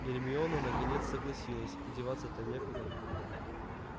гермиона наконец согласилась деваться-то некуда